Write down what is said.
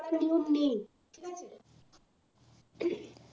করার নিয়ম নেই ঠিক আছে